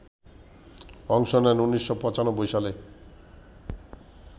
অংশ নেন ১৯৯৫ সালে